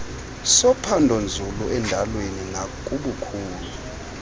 sophandonzulu endalweni nakubukhulu